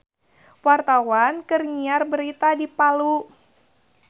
Wartawan keur nyiar berita di Palu